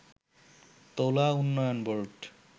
তুলা উন্নয়ন বোর্ড